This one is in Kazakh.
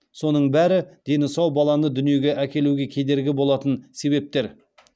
соның бәрі дені сау баланы дүниеге әкелуге кедергі болатын себептер